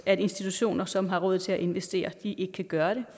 at institutioner som har råd til at investere ikke kan gøre det